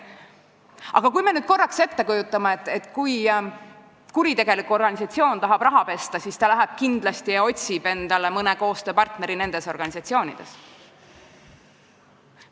Aga kujutame nüüd korraks ette, et kui kuritegelik organisatsioon tahab raha pesta, siis ta läheb ja otsib endale nendest organisatsioonidest mõne koostööpartneri.